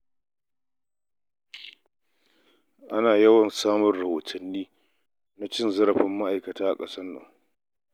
Ana yawan samun rahotanni na cin zarafin ma'aikatan kamfanoni a ƙasar nan.